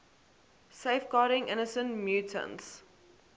safeguarding innocent mutants